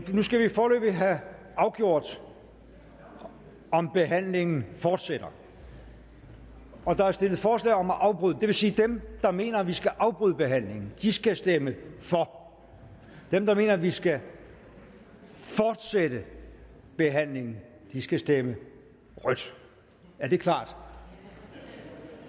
nu skal vi foreløbig have afgjort om behandlingen fortsætter og der er stillet forslag om at afbryde den det vil sige at dem der mener at vi skal afbryde behandlingen skal stemme for dem der mener at vi skal fortsætte behandlingen skal stemme rødt er det klart